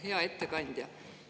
Hea ettekandja!